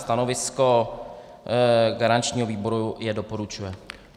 Stanovisko garančního výboru je - doporučuje.